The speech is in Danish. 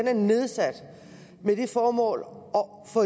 er nedsat med det formål